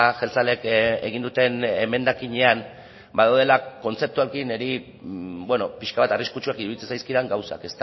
jeltzaleek egin duten emendakinean badaudela kontzeptualki niri pixka bat arriskutsuak iruditzen zaizkidan gauzak